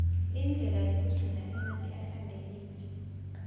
indlela yekugcina emanti ahlantekile